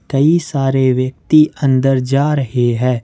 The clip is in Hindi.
कई सारे व्यक्ति अंदर जा रहे हैं।